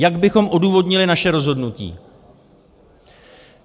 Jak bychom odůvodnili naše rozhodnutí?